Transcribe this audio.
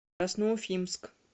красноуфимск